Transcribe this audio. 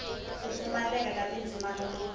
ku pfumaleka ka tindzimana to